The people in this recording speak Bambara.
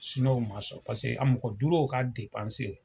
Siniwaw ma sɔn , paseke a mɔgɔ duuruw ka